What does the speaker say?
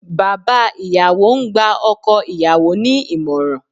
Bàbá ìyàwó ń gba ọkọ ìyàwó ní ìmọ̀ràn